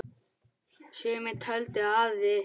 Sumir töldu að